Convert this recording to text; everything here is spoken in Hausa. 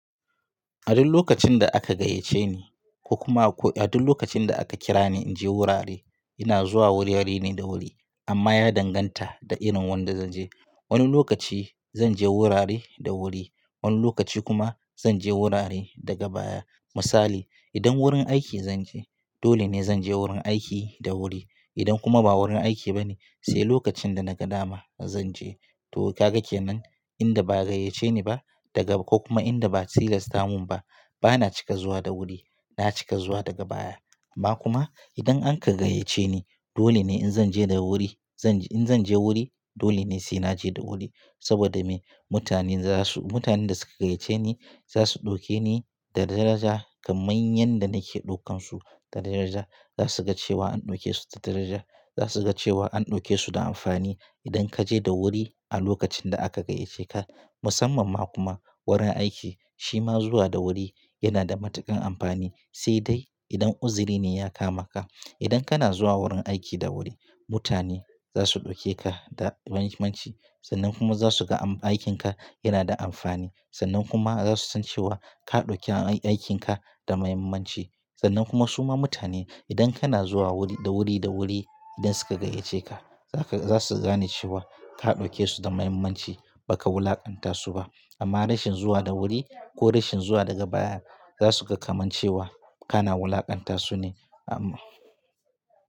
A duk lokacin da aka gayyace ni ko kuma a duk lokacin da aka kira ni in je wurare, ina zuwa wuri-wuri ne da wuri amma ya danganta da irin wanda zanje. Wani lokaci zanje wurare da wuri, wani lokaci kuma zanje wurare daga baya. Misali, idan wurin aiki zanje, dole ne zanje wurin aiki da wuri. Idan kuma ba wurin aiki bane, sai lokacin da naga dama zanje. To kaga kenan? Inda ba a gayyace ni ba daga ko kuma inda ba a tilasta mun ba, bana cika zuwa da wuri, na cika zuwa daga baya. Amma kuma idan an ka gayyace ni, dole ne in zan je da wuri, in zan je wuri, dole ne sai naje da wuri saboda me? Mutanen za su, mutanen da suka gayyace ni za su ɗauke ni da daraja kamar yadda nake ɗaukansu da daraja. Za su ga cewa an ɗauke su da daraja. Za su ga cewa an ɗauke su da amfani idan kaje da wuri a lokacin da aka gayyace ka. Musamman ma kuma wurin aiki, shi ma zuwa da wuri yana da matuƙar amfani, sai dai idan uzuri ne ya kama ka. Idan kana zuwa wurin aiki da wuri, mutane za su ɗauke ka da muhimmanci sannan kuma za su ga aikinka yana da amfani. Sannan kuma za su san cewa ka ɗauki aikinka da muhimmanci. Sannan kuma su ma mutane idan kana zuwa wuri, da wuri, da wuri idan suka gayyace ka, za su, za su gane cewa ka ɗauke su da muhimmanci baka wulaƙanta su ba. Amma rashin zuwa da wuri ko rashin zuwa daga baya za su ga kamar cewa kana wulaƙanta su ne amma.